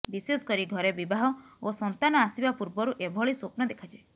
ବିଶେଷ କରି ଘରେ ବିବାହ ଓ ସନ୍ତାନ ଆସିବା ପୂର୍ବରୁ ଏଭଳି ସ୍ୱପ୍ନ ଦେଖାଯାଏ